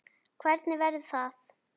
Hvernig verður það?